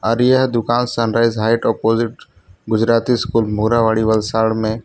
और यह दुकान sunrise height opposite Gujarati school Morabadi Valsad में --